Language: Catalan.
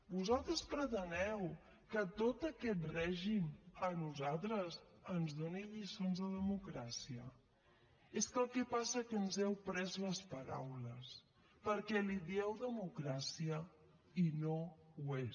vosaltres preteneu que tot aquest règim a nosaltres ens doni lliçons de democràcia és que el que passa que ens heu pres les paraules perquè li dieu democràcia i no ho és